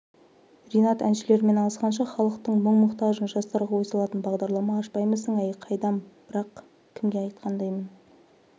ринат әншілермен алысқанша халықтың мұң-мұқтажын жастарға ой салатын бағдарлама ашпаймысың әй қайдам бірақ кімге айтқандаймын